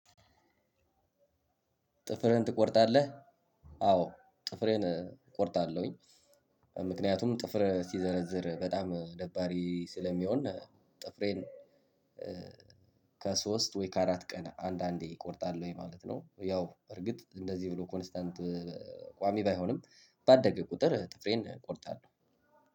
ጥፍርህን ትቆርጣለህ? አዎ ጥፍሬን እቆርጣለሁኝ። ምክንያቱም ጥፍር ሲዘረዝር በጣም ደባሪ ስለሚሆን ጥፍሬን ከሶስት ወይ ከአራት ቀን አንድ አንዴ እቆርጣለሁኝ ማለት ነው። ያው በርግጥ እንደዚህ ብሎ ኮንስታንት ቋሚ ባይሆንም ባደገ ቁጥር ጥፍሬን እቆርጣለሁ።